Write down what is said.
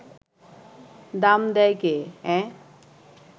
দাম দেয় কে, অ্যাঁ